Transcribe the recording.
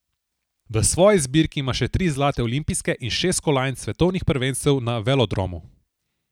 V svoji zbirki ima še tri zlate olimpijske in šest kolajn s svetovnih prvenstev na velodromu.